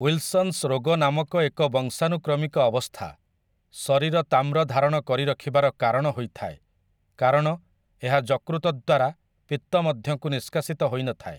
Wilson's ରୋଗ ନାମକ ଏକ ବଂଶାନୁକ୍ରମିକ ଅବସ୍ଥା, ଶରୀର ତାମ୍ର ଧାରଣ କରିରଖିବାର କାରଣ ହୋଇଥାଏ, କାରଣ ଏହା ଯକୃତ ଦ୍ୱାରା ପିତ୍ତମଧ୍ୟକୁ ନିଷ୍କାସିତ ହୋଇନଥାଏ ।